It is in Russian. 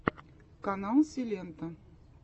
канал силенто